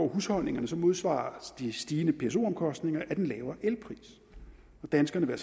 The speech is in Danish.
husholdningerne modsvares de stigende pso omkostninger af den lavere elpris og danskerne vil